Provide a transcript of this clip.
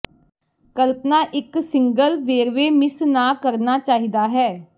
ਕਲਪਨਾ ਇੱਕ ਸਿੰਗਲ ਵੇਰਵੇ ਮਿਸ ਨਾ ਕਰਨਾ ਚਾਹੀਦਾ ਹੈ